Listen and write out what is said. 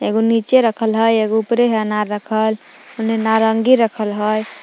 एगो नीचे रखल हइ एगो ऊपरे हइ अनार रखल ओने नारंगी रखल हइ ।